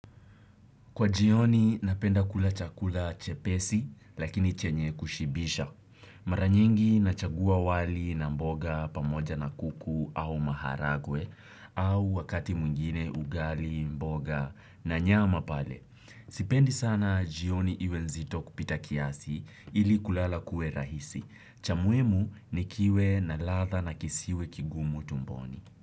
Kwa jioni napenda kula chakula chepesi lakini chenye kushibisha. Mara nyingi nachagua wali na mboga pamoja na kuku au maharagwe au wakati mwingine ugali mboga na nyama pale. Sipendi sana jioni iwe nzito kupita kiasi ili kulala kuwe rahisi. Cha muhimu ni kiwe na ladha na kisiwe kigumu tumboni.